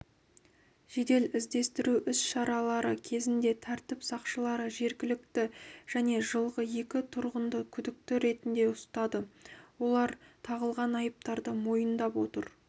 жедел іздестіру іс-шаралары кезінде тәртіп сақшылары жергілікті және жылғы екі тұрғынды күдікті ретінде ұстады олар тағылған айыптарды мойындап отыр